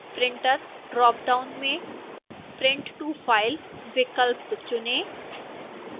printer dropdown में print to file विकल्प चुनें